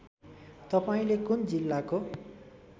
तपाईँले कुन जिल्लाको